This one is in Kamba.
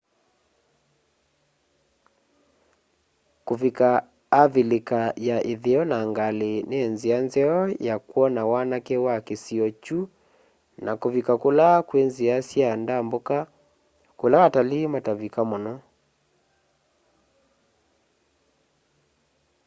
kulika avilika ya itheo na ngali ni nzia nzeo ya kwona wanake wa kisio kyu na kuvika kula kwi nzia sya ndambuka kula atalii matavika muno